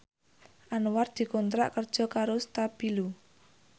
Anwar dikontrak kerja karo Stabilo